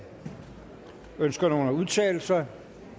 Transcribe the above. ønsker nogen at udtale sig